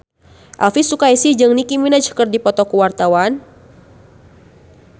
Elvi Sukaesih jeung Nicky Minaj keur dipoto ku wartawan